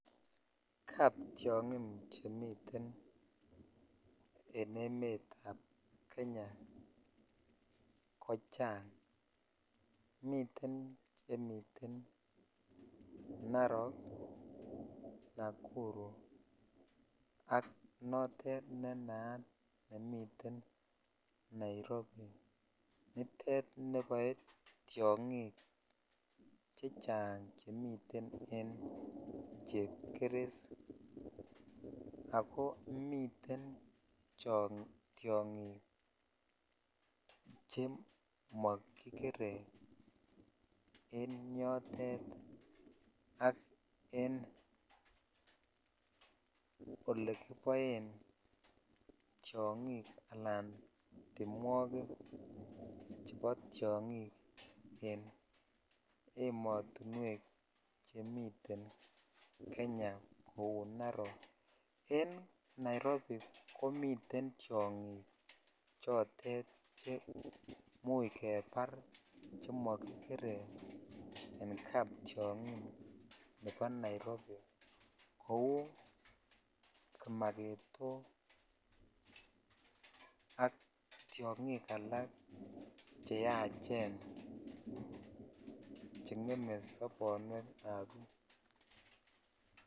Kap tiongin chemiten en emetab Kenya kochang. Miten chemiten Narok, Nakuru ak notet ne naat nemiten Nairobi. Nitet neboe tiongik chang chemiten en chepkeres ago miten tiongik che makikere en yotet ak en olekiboen tiongik anan timwogik chebo tiongik en ematunuek che miten Kenya ku Narok. En Nairobi komiten tiongik chotet che muikebar chemakikere en kaptiongik chebo Nairobi kou kimagetok ak tiongik alak che yachen che ngeme sobonuek ab biik.